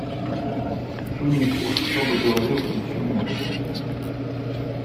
фильмик уж кто бы говорил включи мне